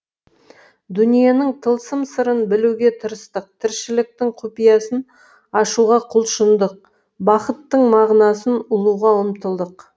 дүниенің тылсым сырын білуге тырыстық тіршіліктің құпиясын ашуға құлшындық бақыттың мағынасын ұғуға ұмтылдық